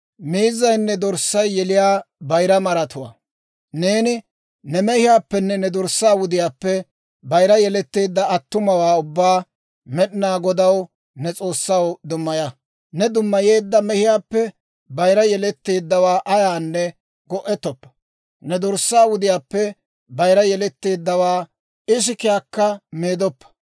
«Neeni ne mehiyaappenne ne dorssaa wudiyaappe bayira yeletteedda attumawaa ubbaa Med'inaa Godaw, ne S'oossaw, dummaya. Ne dummayeedda mehiyaappe bayira yeletteeddawaa ayaanne go'ettoppa; ne dorssaa wudiyaappe bayira yeletteeddawaa ikisiyaakka meedoppa.